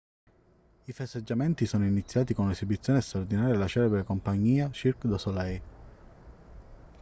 i festeggiamenti sono iniziati con un'esibizione straordinaria della celebre compagnia cirque du soleil